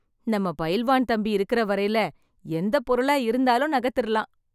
நம்ம பயில்வான் தம்பி இருக்குற வரையிலே எந்த பொருளா இருந்தாலும் நகுத்திறலாம்.